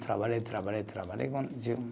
Trabalhei, trabalhei, trabalhei.